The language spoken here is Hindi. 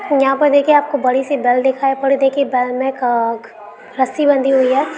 यहाँ प देखिये आपको बड़ी सी बेल दिखाय पड़ देगी। बेल में क-ख् रस्सी बंधी हुई है।